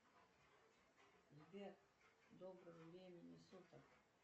сбер доброго времени суток